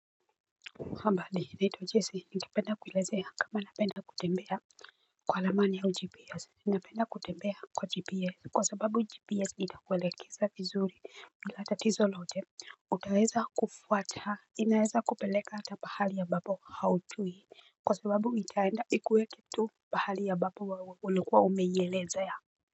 Habari ninaitwa Jesie, ningependa kuelezea kama ninapenda kutembea kwa ramani au gps. Ninapenda kutembea kwa gps kwa sababu gps itakuelekeza tizuri bila tatizo lolote. Utaweza kufuata inaweza kukupeleka hata pahali ambapo haujui. Kwa sababu itaenda ikuwe kitu pahali ambapo ulikuwa umeielezea.